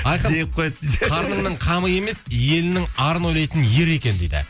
айқын қарнының қамын емес елінің арын ойлайтын ер екен дейді